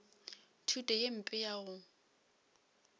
thuto ye mpe ya go